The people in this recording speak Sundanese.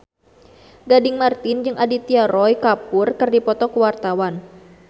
Gading Marten jeung Aditya Roy Kapoor keur dipoto ku wartawan